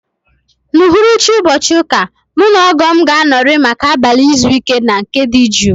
N'uhuruchi ụbọchị ụka a, mụ na ogoo m ga-anọrị maka abalị izu ike na nke dị jụụ